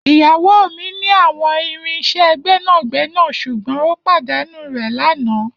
Iyawo mi ni awọn irin iṣẹ gbẹnagbẹna ṣugbọn o padanu rẹ lana